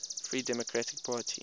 free democratic party